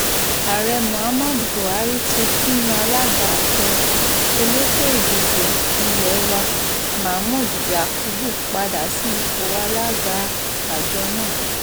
ààrẹ muhammadu buhari ti tún yan alága àjọ elétò ìdìbò ilé wa mahmood yakubu padà sí ipò alága àjọ náà